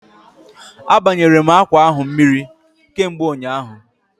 A banyere m akwa ahụ mmiri kamgbe ụnyaahụ